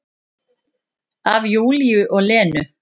Af Júlíu og Lenu.